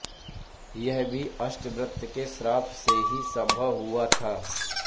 यह भी अष्टावक्र के शाप से ही सम्भव हुआ था